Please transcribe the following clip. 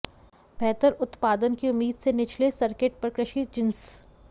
बेहतर उत्पादन की उम्मीद से निचले सर्किट पर कृषि जिंस